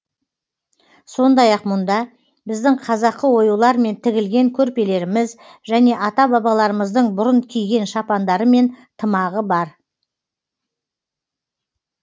сондай ақ мұнда біздің қазақы оюлармен тігілген көрпелеріміз және ата бабаларымыздың бұрын киген шапандары мен тымағы бар